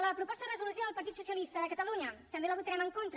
la proposta de resolució del partit socialista de catalunya també la votarem en contra